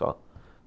Só.